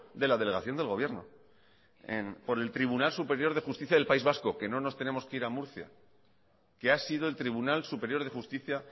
de la delegación del gobierno por el tribunal superior de justicia del país vasco que no nos tenemos que ir a murcia que ha sido el tribunal superior de justicia